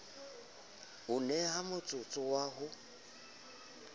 o neha motsotso wa ho